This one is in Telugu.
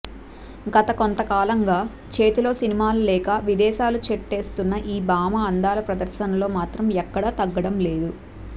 గతకొంత కాలంగా చేతిలో సినిమాలు లేక విదేశాలు చేట్టేస్తున్న ఈ భామ అందాల ప్రదర్శనలో మాత్రం ఎక్కడా తగ్గడం లేదు